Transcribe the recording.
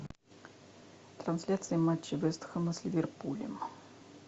трансляция матча вест хэма с ливерпулем